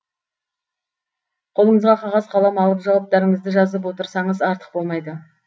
қолыңызға қағаз қалам алып жауаптарыңызды жазып отырсаңыз артық болмайды